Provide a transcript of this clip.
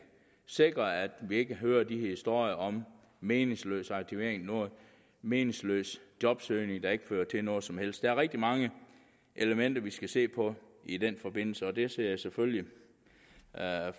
sikre at vi ikke hører de historier om meningsløs aktivering og meningsløs jobsøgning der ikke fører til noget som helst der er rigtig mange elementer vi skal se på i den forbindelse og det ser jeg selvfølgelig